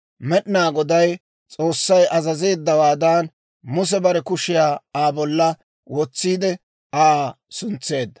Med'inaa Goday S'oossay azazeeddawaadan, Muse bare kushiyaa Aa bolla wotsiide, Aa suntseedda.